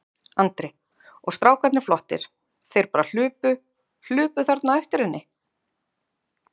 Andri: Og strákarnir flottir, þeir bara hlupu, hlupu þarna á eftir henni?